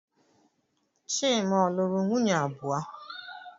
Chima o lụrụ nwunye abụọ?